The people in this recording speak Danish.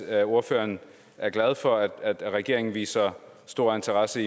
at ordføreren er glad for at regeringen viser stor interesse